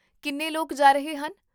ਕਿੰਨੇ ਲੋਕ ਜਾ ਰਹੇ ਹਨ?